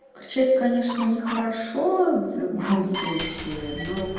кричать конечно не хорошо в любом случае но